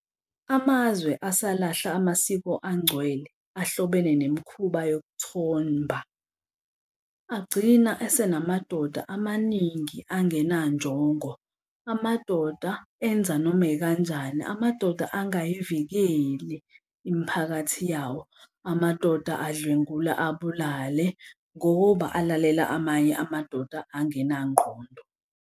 Amazwe asalahla amasiko angcwele, ahlobene nemikhuba yokuthomba agcina esenamadoda amaningi angenanjongo. Amadoda enza noma ekanjani amadoda engayivikela imiphakathi yawo. Amadoda adlwengula, abulale, ngoba alalela amanye amadoda angenanqondo.